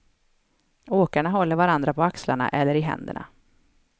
Åkarna håller varandra på axlarna eller i händerna.